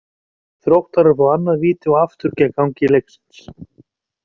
Þróttarar fá annað víti og aftur gegn gangi leiksins!